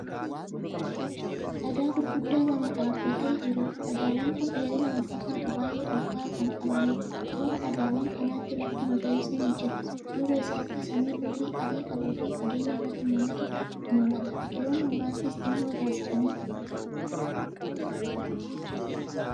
Dhagaa gurguddaa lama dhaabbatee jirudha. dhagaawwan Kun dheerina walfakkatu baay'ee olkaa'aa Kan qabanidha. Toora dhagaawwan kanaatti lafti magariisni ni jira. duuba isaatti samiin hurrii adii qabu fageenya irratti mul'ata. biqiltoonni muraasnis xinnoo irraa siiqanii argamu.